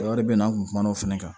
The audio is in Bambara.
wɛrɛ bɛ yen nɔ an tun kumana o fana kan